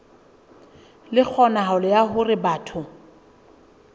le kgonahalo ya hore batho